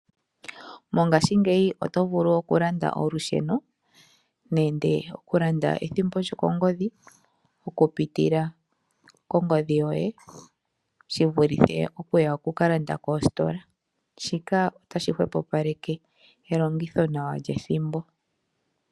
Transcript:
Mongashingeyi oto vulu okulanda olusheno nenge ethimbo lyokongodhi okupitila kongodhi yoye shivulithe okuya wukalande koositola, shika otashi hwepopaleke elongitho nawa lyethimbo.